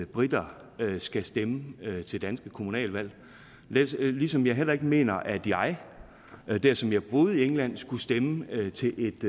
briter skal stemme til danske kommunalvalg ligesom jeg heller ikke mener at jeg dersom jeg boede i england skulle stemme til et